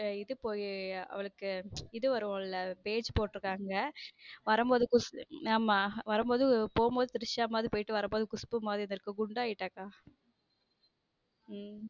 போடு இது பொய் அவளுக்கு இது வரும் ல page போடுருகாங்க வரும்போது ஆமா வரும்போது போகும்போது திரிஷா மாதிரி போயிட்டு வரும்போது குஷ்பூ மாதிரி வந்திருக்கு குண்டாகிட்டாக் உம்